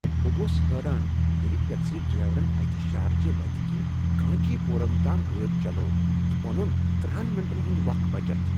بہٕ گوس حٲران ییٚلہ ٹٮ۪کسی ڈرٛایورن اکہ شھوچہِ وتہِ كِنہِ کانچی پوٗرم تام گٲڈِ چلٲو تہِ اونٗن ترہَن مِنٹن ہٗند وكھ بچت